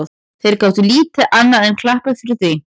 Þeir gátu lítið annað enn klappað fyrir því.